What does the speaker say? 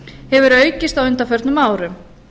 hefur aukist á undanförnum árum